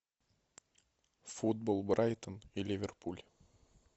футбол брайтон и ливерпуль